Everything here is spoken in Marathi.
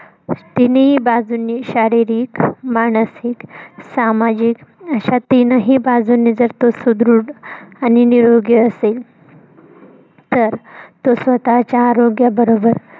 तिनीही बाजूंनी शारिरीक, मानसिक, सामाजिक अश्या तीनही बाजूंनी जर, तो सुदृढ आणि निरोगी असेल. तर, तो स्वतःच्या आरोग्य बरोबर